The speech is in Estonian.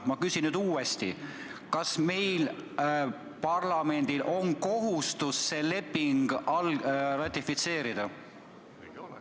Ma küsin nüüd uuesti: kas meil, parlamendil, on kohustus see leping ratifitseerida?